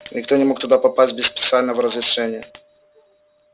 никто не мог туда попасть без специального разрешения